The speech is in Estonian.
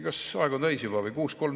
Kas aeg on täis juba või?